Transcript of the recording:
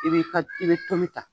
I bi ka i bɛ tomi ta.